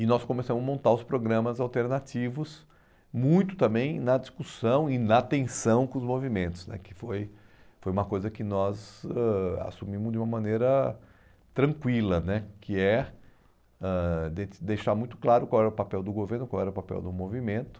E nós começamos a montar os programas alternativos muito também na discussão e na tensão com os movimentos né, que foi foi uma coisa que nós ãh assumimos de uma maneira tranquila né, que é ãh de deixar muito claro qual era o papel do governo, qual era o papel do movimento.